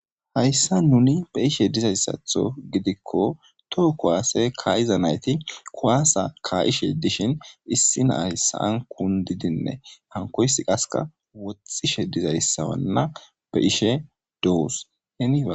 hayssa nuni be ishe dizayssatho gidikko toho kuwaase ka7iza nayti kuwaasa ka7ishe dishin issi naayssan kundidinne hankoysi qaska woxtxishe dizayssawanna be ishe doos hena